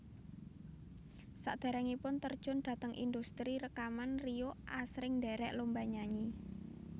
Saderengipun terjun dhateng indhustri rekaman Rio asring ndherek lomba nyanyi